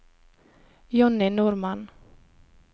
Jonny Normann